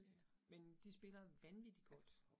Ja, men de spiller vanvittig godt